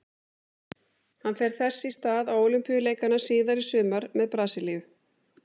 Hann fer þess í stað á Ólympíuleikana síðar í sumar með Brasilíu.